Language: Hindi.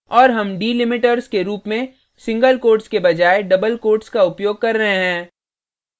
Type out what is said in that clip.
और हम delimiters के रूप में single quotes के बजाय double quotes का उपयोग कर रहे हैं